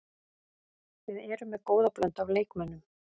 Við erum með góða blöndu af leikmönnum.